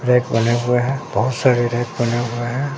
Rack बने हुए है बहुत सारी रैक बने हुए हैं।